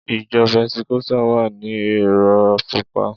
Ìjọ Pẹntikọ́sítà wa ni èrò púpọ̀.